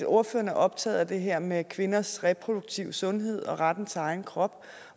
ordføreren er optaget af det her med kvinders reproduktive sundhed og retten til egen krop